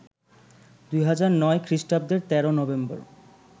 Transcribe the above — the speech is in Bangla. ২০০৯ খ্রিষ্টাব্দের ১৩ নভেম্বর